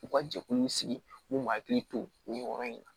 U ka jɛkulu in sigi u b'u hakili to nin yɔrɔ in na